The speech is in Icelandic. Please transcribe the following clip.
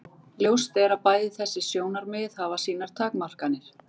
Ljóst er að bæði þessi sjónarmið hafa sínar takmarkanir.